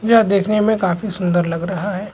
पूरा देखने में काफी सुंदर लग रहा है।